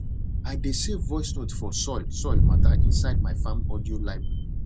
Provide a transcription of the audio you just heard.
i dey save voice note for soil soil matter inside my farm audio library